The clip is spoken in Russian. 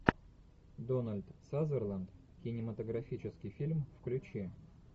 дональд сазерленд кинематографический фильм включи